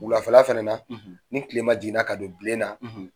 Wulafɛla fana na ni tile ma jiginna ka don bilen na